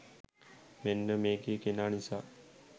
මෙන්න මේ කෙනා නිසා